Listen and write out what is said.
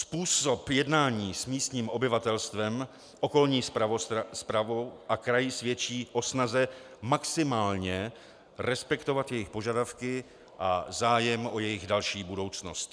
Způsob jednání s místním obyvatelstvem, okolní správou a kraji svědčí o snaze maximálně respektovat jejich požadavky a zájem o jejich další budoucnost.